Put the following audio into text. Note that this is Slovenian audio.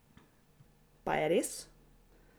Pa je res?